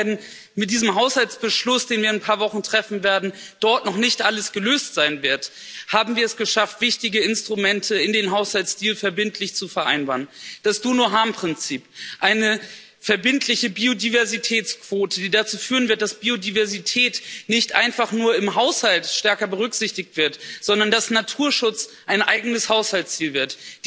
Und auch wenn mit diesem Haushaltsbeschluss, den wir in ein paar Wochen treffen werden, dann noch nicht alles gelöst sein wird, haben wir es geschafft, wichtige Instrumente in dem Haushaltsziel verbindlich zu vereinbaren das Prinzip der Schadensvermeidung, eine verbindliche Biodiversitätsquote, die dazu führen wird, dass Biodiversität nicht einfach nur im Haushalt stärker berücksichtigt wird, sondern dass Naturschutz ein eigenes Haushaltsziel wird.